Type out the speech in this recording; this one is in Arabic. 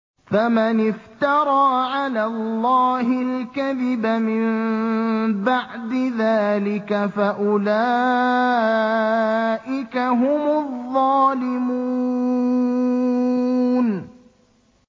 فَمَنِ افْتَرَىٰ عَلَى اللَّهِ الْكَذِبَ مِن بَعْدِ ذَٰلِكَ فَأُولَٰئِكَ هُمُ الظَّالِمُونَ